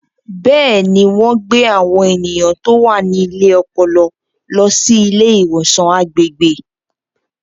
Bẹ́ẹ̀ni, wọ́n gbé àwọn ènìyàn tó wà ní ilé ọpọlọ lọ sí ilé ìwòsàn agbègbè.